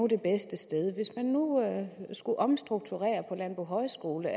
det bedste sted hvis man nu skulle omstrukturere på landbohøjskolen